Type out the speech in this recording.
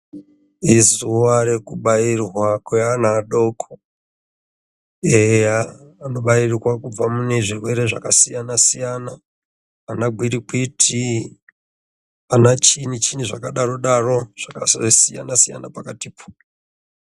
Izuwa rekubairwa kweana adoko ,eya anobairwa kubva munezvirwere zvakasiyanasiyana ana gwirikwiti ,ana chinyi chinyi zvakadarodaro zvakasiyanasiyana pakatipo.